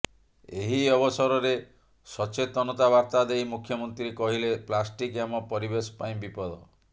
ଏହି ଅବସରରେ ସଚେତନତା ବାର୍ତା ଦେଇ ମୁଖ୍ୟମନ୍ତ୍ରୀ କହିିଲେ ପ୍ଲାଷ୍ଟିକ୍ ଆମ ପରିବେଶ ପାଇଁ ବିପଦ